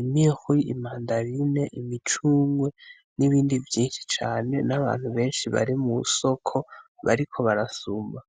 imihwi, imadarine, imicungwe n'ibindi vyinshi cane n'abantu benshi bari mw'isoko bariko barasuma.